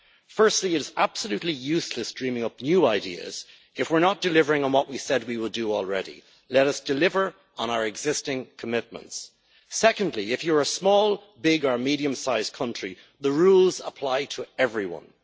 Firstly, it is absolutely useless dreaming up new ideas if we're not delivering on what we said we would do already. Let us deliver on our existing commitments. Secondly, if you're a small, big or medium sized country, the rules apply to everyone.